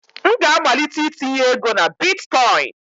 M ga-amalite itinye ego na bịtkọ̀ín